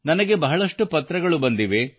ನನಗೆ ಬಹಳಷ್ಟು ಪತ್ರಗಳು ಬಂದಿವೆ